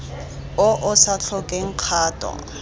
o o sa tlhokeng kgato